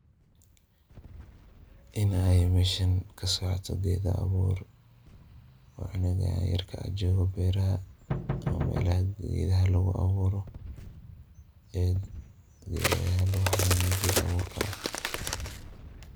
Inaay meesha ka socota geeda abuur. Waa cunuga yerka ah joogaa beeraha ama meelaha geedaha lugu abuuro. Geedaha lugu hanaaneeyo waa geed abuurka ah.